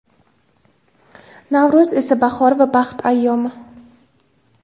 Navro‘z esa bahor va baxt ayyomi.